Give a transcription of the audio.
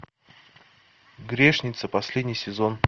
грешница последний сезон